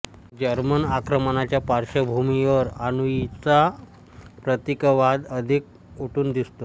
German आक्रमणाच्या पार्श्वभूमीवर आनुईयचा प्रतीकवाद अधिक उठून दिसतो